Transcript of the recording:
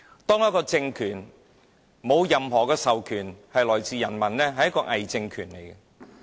當一個政府沒有人民授權，便是偽政權。